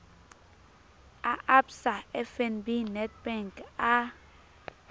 a absa fnb nedbank a